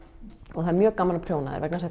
og það er mjög gaman að prjóna þær vegna þess